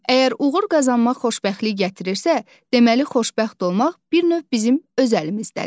Əgər uğur qazanmaq xoşbəxtlik gətirirsə, deməli xoşbəxt olmaq bir növ bizim öz əlimizdədir.